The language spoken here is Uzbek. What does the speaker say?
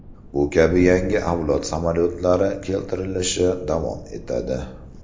Bu kabi yangi avlod samolyotlari keltirilishi davom etadi.